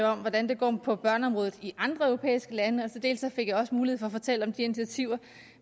om hvordan det går på børneområdet i andre europæiske lande og dels fik jeg også mulighed for at fortælle om de initiativer